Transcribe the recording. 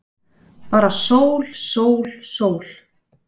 Bara sól, sól, sól.